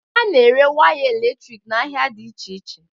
A na-ere waya elektriki n'ahịa dị iche iche.